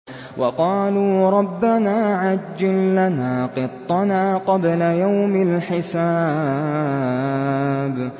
وَقَالُوا رَبَّنَا عَجِّل لَّنَا قِطَّنَا قَبْلَ يَوْمِ الْحِسَابِ